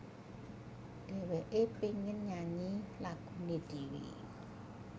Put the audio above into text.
Dheweke pengen nyanyi lagune dhewe